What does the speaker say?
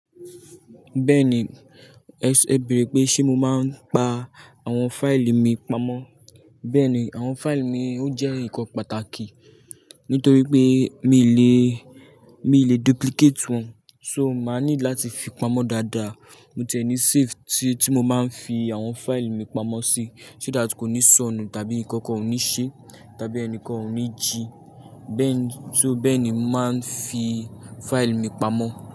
Bẹ́ẹ̀ni, ẹ bẹ̀rẹ̀ pé ṣe mo máa ń pa àwọn fáìlì mi pamọ́? Bẹ́ẹ̀ni, àwọn fáìlì mi ó jẹ́ ǹkan pàtàkì, nítorí pé mi ì lè, mi ì lè duplicate wọn. So máa ní láti fi pamọ́ dáadáa. Mo ti ẹ ní safe tí, tí mo máa ń fi àwọn fáìlì mi pamọ́ sí, so that kò ní sọnù tàbí nǹkan kò ní ṣe, tàbí ẹnìkan ò ní jìí. Bẹ́ẹ̀ ni, só bẹ́ẹ̀ ni màá ń fi fáìlì mi pamọ́.